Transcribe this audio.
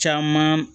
Caman